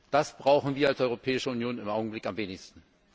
Das brauchen wir als Europäische Union im Augenblick am wenigsten!